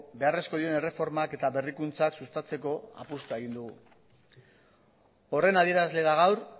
beharrezkoak diren erreformak eta berrikuntzak sustatzeko apustua egin dugu horren adierazle da gaur